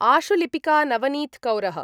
आशुलिपिका नवनीतकौरः